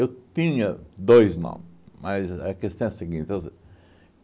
tinha dois nomes, mas a questão é a seguinte.